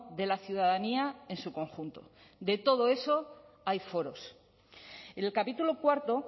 de la ciudadanía en su conjunto de todo eso hay foros en el capítulo cuarto